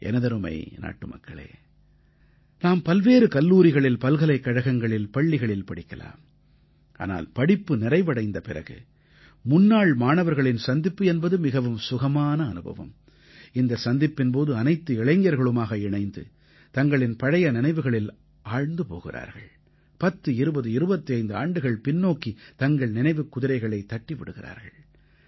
எனதருமை நாட்டுமக்களே நாம் பல்வேறு கல்லூரிகளில் பல்கலைக்கழகங்களில் பள்ளிகளில் படிக்கலாம் ஆனால் படிப்பு நிறைவடைந்த பிறகு முன்னாள் மாணவர்களின் சந்திப்பு என்பது மிகவும் சுகமான அனுபவம் இந்த சந்திப்பின் போது அனைத்து இளைஞர்களுமாக இணைந்து தங்களின் பழைய நினைவுகளில் ஆழ்ந்து போகிறார்கள் 10 20 25 ஆண்டுகள் பின்னோக்கித் தங்கள் நினைவுக் குதிரைகளைத் தட்டி விடுகிறார்கள்